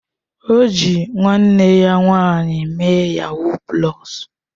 O ji nwanne ya nwanyị mee yahuu pulọs